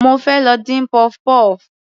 Mo fẹ́ lọ dín puff puff.